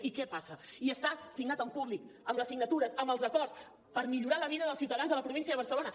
i què passa i està signat en públic amb les signatures amb els acords per millorar la vida dels ciutadans a la província de barcelona